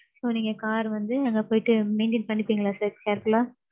so நீங்க car வந்து அங்க போயிட்டு maintain பணிப்பீங்களா sir careful ஆ?